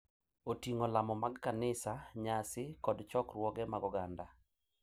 Oting’o lamo mag kanisa, nyasi, kod chokruoge mag oganda.